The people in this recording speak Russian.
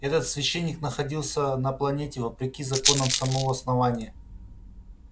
этот священник находился на планете вопреки законам самого основания